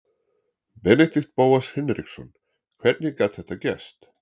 Benedikt Bóas Hinriksson Hvernig gat þetta gerst?